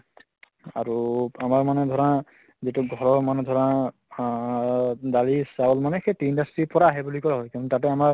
আৰু আমাৰ মানে ধৰা যিটো ঘৰৰ মানে ধৰা আহ দালি চাউল মানে সেই tea industry ৰ পৰা আহে বুলি কয় হয় তাতে আমাৰ